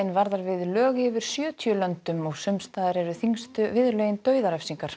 varðar við lög í yfir sjötíu löndum og sums staðar eru þyngstu viðurlögin dauðarefsing